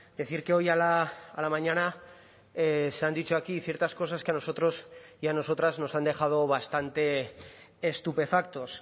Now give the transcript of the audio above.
decir que hoy a la mañana se han dicho aquí ciertas cosas que a nosotros y a nosotras nos han dejado bastante estupefactos